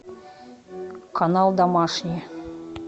канал домашний